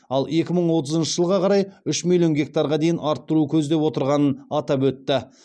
ал екі мың отызыншы жылға қарай үш миллион гектарға дейін арттыру көздеп отырғанын атап өтті